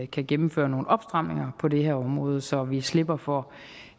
kan gennemføre nogle opstramninger på det her område så vi slipper for